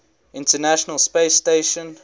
international space station